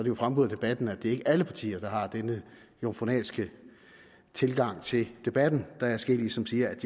jo fremgået af debatten at det ikke er alle partier der har denne jomfrunalske tilgang til debatten der er adskillige som siger at